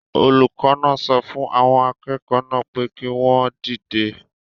Olùkọ́ náà so fun àwọn akẹ́kọ̀ọ́ naa pe ki won dide